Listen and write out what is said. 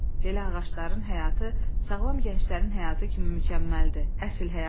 Belə ağacların həyatı sağlam gənclərin həyatı kimi mükəmməldir, əsl həyatdır.